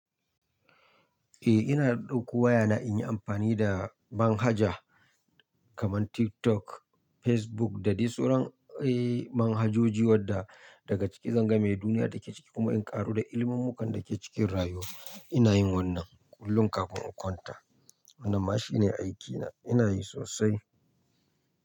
Eh ina dauko wayana inyi amfani da manhaja kaman TikTok, Facebook da dai sauran eh manhajoji wadda daga ciki zan game duniya da ke ciki kuma in karu da ilimin mu kan da ke cikin rayuwa. Ina yin wannan kullum kafin in kwanta. Wannan ma shine aikina ina yi sosai.